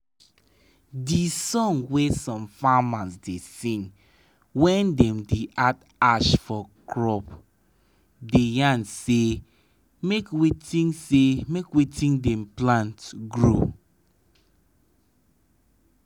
de song wey some farmers da sing when dem da add ash for crop da yan say make wetin say make wetin dem plant grow